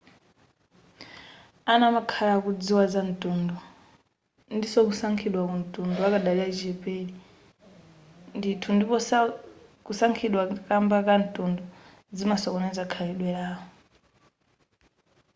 ana amakhala akudziwa za mtundu ndinso kusankhidwa kwamtundu akadali achichepere ndithu ndipo kusankhidwa kamba ka mtundu zimasokoneza khalidwe lawo